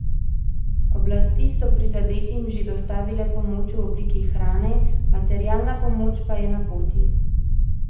Oblasti so prizadetim že dostavile pomoč v obliki hrane, materialna pomoč pa je na poti.